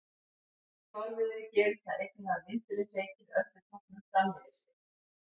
Í fárviðri gerist það einnig að vindurinn feykir öldutoppnum fram yfir sig.